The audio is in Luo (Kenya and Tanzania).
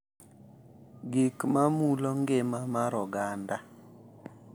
Gik ma mulo ngima mar oganda